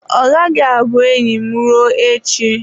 Ọ gaghị abụ enyi m ruo echi.